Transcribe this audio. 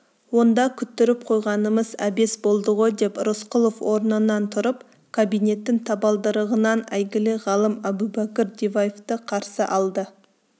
онда күттіріп қойғанымыз әбес болды ғой деп рысқұлов орнынан тұрып кабинеттің табалдырығынан әйгілі ғалым әбубәкір диваевты қарсы алды